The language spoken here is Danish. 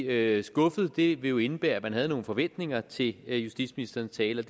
er skuffet vil det jo indebære at man havde nogle forventninger til justitsministerens tale